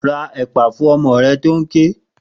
Ra ẹ̀pà fún ọmọ rẹ tó ń ké!